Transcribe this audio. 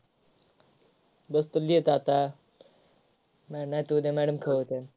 बसतो लिहीत आता नाई नाहीतर madam उद्या खुळी होत्या.